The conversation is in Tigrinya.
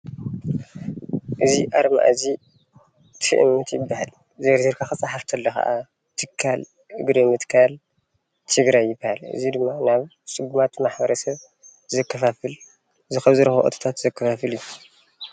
እዚ ኣርማ እዚ ት.እ.ም.ት ይባሃል፡፡ ዘርዚርካ ክፃሓፍ ከሎ ከኣ ትካል እግሪ ም ትካል ትግራይ ይባሃል፡፡ እዚ ድማ ናብ ፅጉማት ማሕበረ ሰብ ዘከፋፍል ዝረከቦ እቶት ዘከፋፍል እዩ፡፡